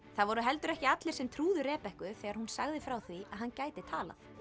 það voru heldur ekki allir sem trúðu þegar hún sagði frá því að hann gæti talað